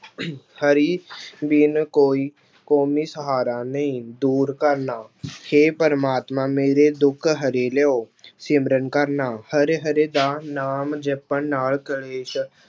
ਹਰੀ ਬਿਨ ਕੋਈ ਕੋਮੀ ਸਹਾਰਾ ਨਹੀਂ, ਦੂਰ ਕਰਨਾ ਹੇ ਪ੍ਰਮਾਤਮਾ ਮੇਰੇ ਦੁੱਖ ਹਰਿ ਲਇਓ ਸਿਮਰਨ ਕਰਨਾ ਹਰਿ ਹਰਿ ਦਾ ਨਾਮ ਜਪਣ ਨਾਲ ਕਲੇਸ਼